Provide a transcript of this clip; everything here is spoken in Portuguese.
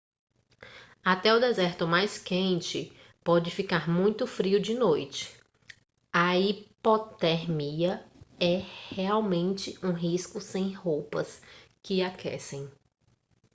até o deserto mais quente pode ficar muito frio de noite a hipotermia é realmente um risco sem roupas que aquecem